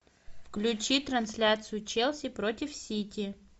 включи трансляцию челси против сити